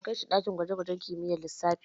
Na kai shi ɗakin gwaje-gwaje kimiyyar lissafi.